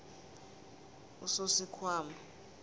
usosikhwama